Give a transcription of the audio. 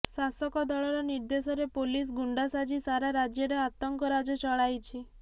ଶାସକ ଦଳର ନିର୍ଦ୍ଦେଶରେ ପୋଲିସ ଗୁଣ୍ଡା ସାଜି ସାରା ରାଜ୍ୟରେ ଆତଙ୍କ ରାଜ ଚଳାଇଛି